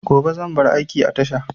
Gobe zan bar aiki a tasha